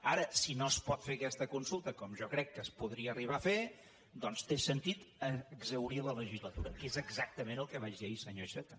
ara si no es pot fer aquesta consulta com jo crec que es podria arribar a fer doncs té sentit exhaurir la legislatura que és exactament el que vaig dir ahir senyor iceta